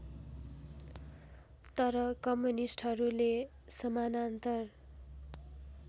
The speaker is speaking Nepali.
तर कम्युनिस्टहरूले समानान्तर